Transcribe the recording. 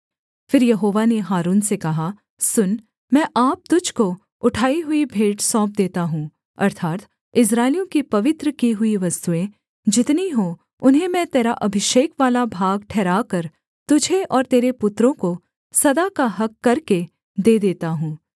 फिर यहोवा ने हारून से कहा सुन मैं आप तुझको उठाई हुई भेंट सौंप देता हूँ अर्थात् इस्राएलियों की पवित्र की हुई वस्तुएँ जितनी हों उन्हें मैं तेरा अभिषेक वाला भाग ठहराकर तुझे और तेरे पुत्रों को सदा का हक़ करके दे देता हूँ